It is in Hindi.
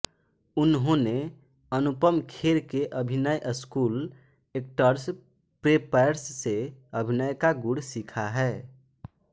उन्होंने अनुपम खेर के अभिनय स्कूल एक्टर्स प्रेपैर्स से अभिनय का गुण सीखा है